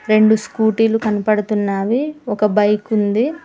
రెండు స్కూటీలు కనపడుతున్నావి ఒక బైక్ ఉంది.